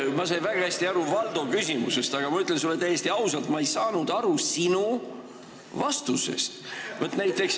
Ma sain väga hästi aru Valdo küsimusest, aga ma ütlen sulle täiesti ausalt, et ma ei saanud aru sinu vastusest.